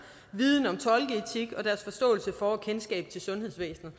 viden om tolkeetik og deres forståelse for og kendskab til sundhedsvæsenet